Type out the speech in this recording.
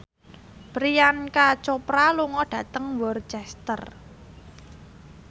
Priyanka Chopra lunga dhateng Worcester